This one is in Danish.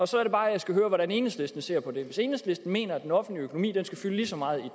så er det bare jeg skal høre hvordan enhedslisten ser på det hvis enhedslisten mener at den offentlige økonomi skal fylde lige så meget i